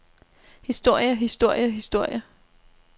historie historie historie